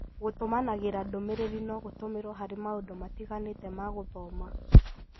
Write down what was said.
Gũtũmanagĩra ndũmĩrĩri no gũtũmĩrwo harĩ maũndũ matiganĩte ma gũthoma.